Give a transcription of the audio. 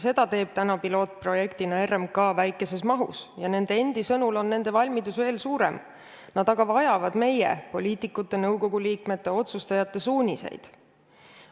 Seda teeb pilootprojektina RMK väikeses mahus ja nende endi sõnul on nende valmidus veel suurem, nad aga vajavad poliitikute, nõukogu liikmete ja teiste otsustajate suuniseid.